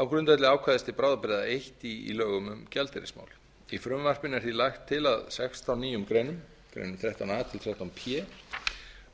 á grundvelli ákvæðis til bráðabirgða eins í lögum um gjaldeyrismál í frumvarpinu er því lagt til að sextán nýjum greinum greinum þrettán a þrettán p